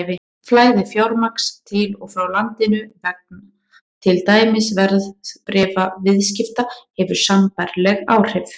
Flæði fjármagns til og frá landinu vegna til dæmis verðbréfaviðskipta hefur sambærileg áhrif.